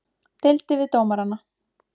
Deildi við dómarana